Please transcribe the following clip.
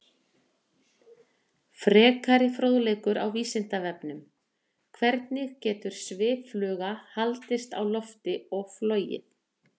Frekari fróðleikur á Vísindavefnum: Hvernig getur sviffluga haldist á lofti og flogið?